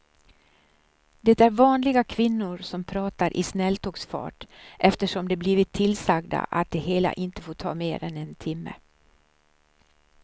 Det är vanliga kvinnor som pratar i snälltågsfart eftersom de blivit tillsagda att det hela inte får ta mer än en timme.